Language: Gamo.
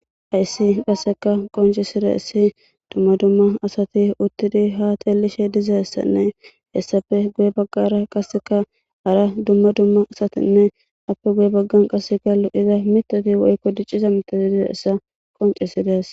Hayssi qasseka qonce sire essi dumma dumma asati uttidi ha teelishe dizassanne hessafe guye baggara qasseka ara dumma dumma asatinne appe guye baggan qasse galu'iza mitoti woykko dicciza mitoti dize essa qoncesidees.